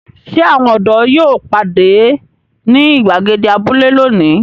Ṣé àwọn ọ̀dọ́ yóò pàdé ní ìgbàgede abúlé lónìí?